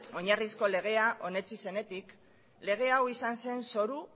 oinarrizko legea onetsi zenetik lege hau izan zen zoru